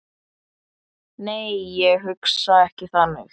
Nei, ég hugsa ekki þannig.